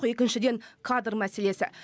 екіншіден кадр мәселесі